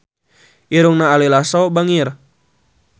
Irungna Ari Lasso bangir